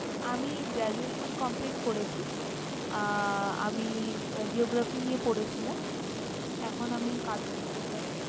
আমি graduation complete করেছি, আহ আমি geography নিয়ে পড়েছিলাম। এখন আমি কাজ করতে চাই।